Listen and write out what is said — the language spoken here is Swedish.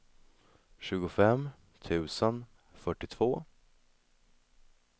tjugofem tusen fyrtiotvå